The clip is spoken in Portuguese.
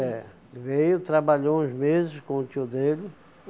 É. Veio, trabalhou uns meses com o tio dele.